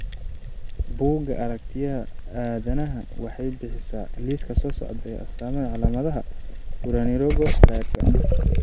Bugga Aaragtiyaha Aadanaha waxay bixisaa liiska soo socda ee astamaha iyo calaamadaha Currarinogo triadka.